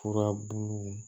Furabulu